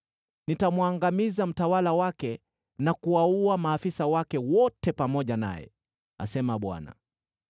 Nitamwangamiza mtawala wake na kuwaua maafisa wake wote pamoja naye,” asema Bwana .